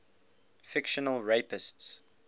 fictional rapists